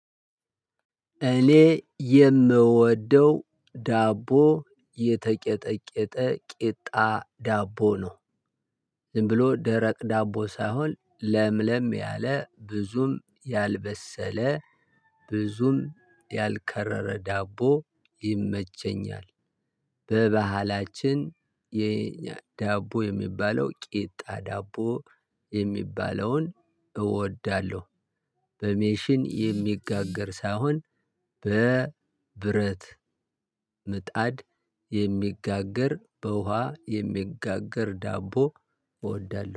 እኔ የምወደው ዳቦ የተቀጠቀጠ ቂጣ ዳቦ ነው። ዝም ብሎ ደረቅ ዳቦ ሳይሆን ለምለም ያለ ብዙም ያልበሰለ ብዙም ያልከረረ ዳቦ ይመቸኛል። በባህላችን የእኛ ዳቦ የሚባለው ቂጣ ዳቦ የሚባለውን እወዳለሁ። በማሽን የሚጋገር ሳይሆን በብረት ምጣድ የሚጋገር በውሃ የሚጋገር ዳቦ እወዳለሁ